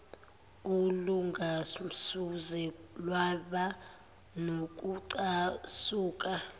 olungasoze lwaba nokucasula